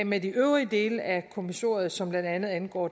med de øvrige dele af kommissoriet som blandt andet angår